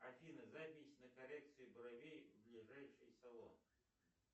афина запись на коррекцию бровей в ближайший салон